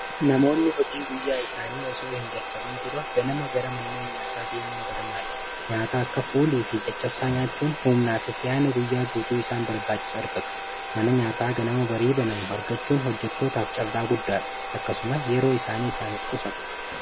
namoonni hojii guyyaa isaanii osoo hin jalkabin dura ganama gara manlee nyaataa dimuun barmaadha nyaataa akka fuulii fi caccabsaa nyaachuun humnaa fisiyaana guyyaa guutuu isaan barbaachisu argatu mana nyaataa ganama bariiba namuo argachuun hojjattootaaf carraa guddaadha akkasuma yeroo isaanii isaaniif qusata